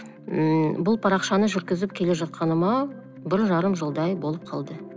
ммм бұл парақшаны жүргізіп келе жатқаныма бір жарым жылдай болып қалды